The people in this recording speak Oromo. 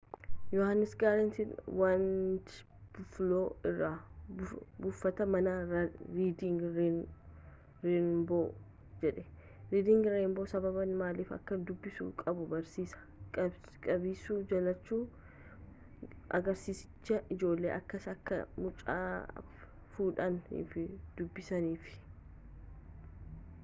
yohanis grant wned bufaloo irra buufataa mana ridiing renboo jedhee rediing renboon sababaa maaliif akka dubbisu qabu barsiisa, dubbisuu jallachu — [agarsiisichi] ijoollee kakaase akka macaafa fudhanii fi dubbisaniif.